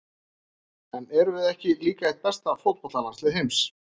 En erum við ekki líka eitt besta fótboltalandslið heims?